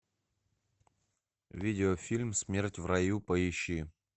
видеофильм смерть в раю поищи